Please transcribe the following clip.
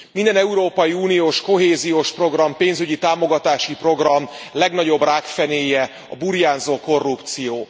Minden európai uniós kohéziós program, pénzügyi támogatási program legnagyobb rákfenéje a burjánzó korrupció.